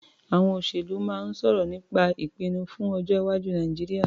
Àwọn olóṣèlú náà ń sọ̀rọ̀ nípa ìpinnu fún ọjọ́-iwájú Nàìjíríà.